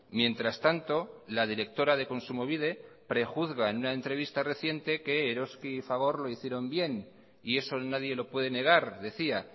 mientras tanto la directora de kontsumobide prejuzga en una entrevista reciente que eroski y fagor lo hicieron bien y eso nadie lo puede negar decía